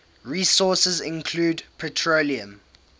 resources include petroleum